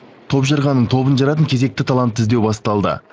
топжарған ның тобын жаратын кезекті талантты іздеу басталды